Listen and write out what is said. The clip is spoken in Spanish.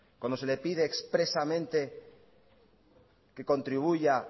cuando se le pide expresamente que contribuya